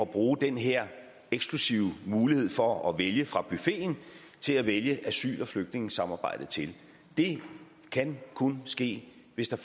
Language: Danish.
bruge den her eksklusive mulighed for at vælge fra buffeten til at vælge asyl og flygtningesamarbejdet til det kan kun ske hvis der